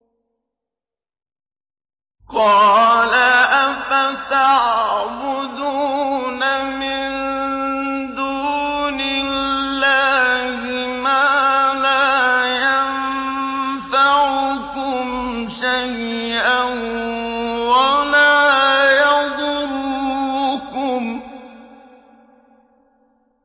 قَالَ أَفَتَعْبُدُونَ مِن دُونِ اللَّهِ مَا لَا يَنفَعُكُمْ شَيْئًا وَلَا يَضُرُّكُمْ